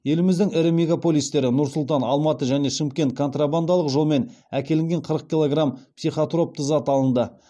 еліміздің ірі мегаполистері нұр сұлтан алматы мен шымкент контрабандалық жолмен әкелінген қырық килограмм психотроптық зат алынды